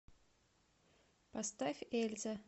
поставь эльза